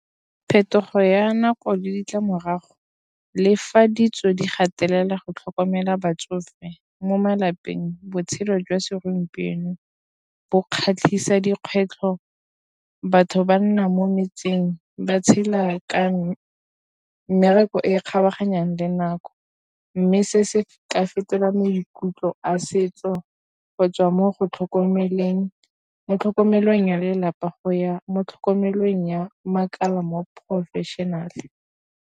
Phetogo ya nako le ditlamorago, le fa ditso di gatelela go tlhokomela batsofe mo malapeng, botshelo jwa segompieno bo kgatlhisa dikgwetlho. Batho ba nna mo metseng ba tshela ka mmereko e kgabaganyang le nako, mme se se ka fetola maikutlo a setso go tswa mo go tlhokomeleng mo tlhokomelong ya lelapa go ya mo tlhokomelong ya makala mo professional.